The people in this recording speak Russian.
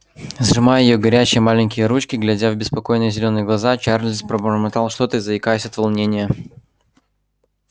сжимая её горячие маленькие ручки глядя в беспокойные зелёные глаза чарлз пробормотал что-то заикаясь от волнения